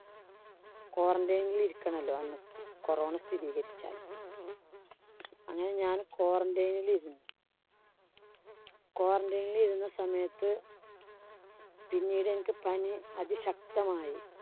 Quarantine ഇല്‍ ഇരിക്കണോലോ അന്ന് corona സ്ഥിരീകരിച്ചാല്‍ അങ്ങനെ ഞാന് quarantine ഇല്‍ ഇരുന്നു. quarantine ഇല്‍ ഇരുന്ന സമയത്ത് പിന്നീട് എനിക്ക് പനി അതിശക്തമായി.